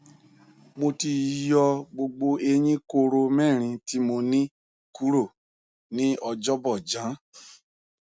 mo ti yo gbogbo eyin koro mẹrin ti mo ni kuro ni ọjọbọ jan